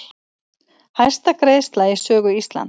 Hæsta greiðsla í sögu Íslands